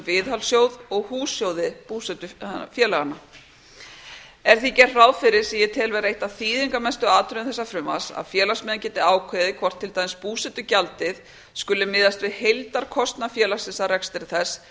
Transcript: viðhaldssjóð og hússjóði búsetufélaganna er því gert ráð fyrir sem ég tel vera eitt af þýðingarmestu atriðum þessa frumvarps að félagsmenn geti ákveðið hvort til dæmis búsetugjaldið skuli miðast við heildarkostnað félagsins af rekstri þess